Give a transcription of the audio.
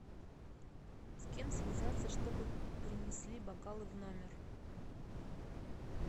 с кем связаться чтобы принесли бокалы в номер